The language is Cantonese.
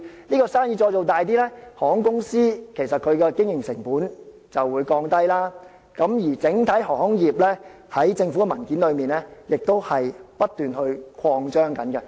而當生意做大後，航空公司的經營成本就會下降，政府的文件便指出整體航空業將會不斷擴張。